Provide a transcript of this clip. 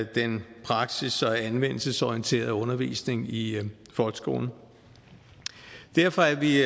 den praksis og anvendelsesorienterede undervisning i folkeskolen derfor er vi